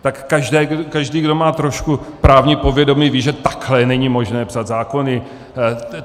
Tak každý, kdo má trošku právní povědomí, ví, že takhle není možné psát zákony.